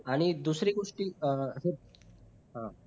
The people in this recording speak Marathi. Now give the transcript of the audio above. आणि दुसरी गोष्टी अं